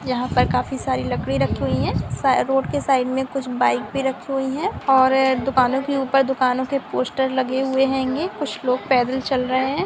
यहाँ पर काफी सारी लकड़ी रखी हुई है सा रोड के साइड मे कुछ बाइक भी रखी हुई है और दुकानों के ऊपर दुकानों के पोस्टर लगे हुए होंगे कुछ लोग पैदल चल रहे है।